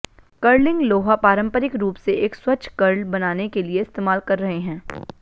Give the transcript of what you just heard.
curling लोहा पारंपरिक रूप से एक स्वच्छ कर्ल बनाने के लिए इस्तेमाल कर रहे हैं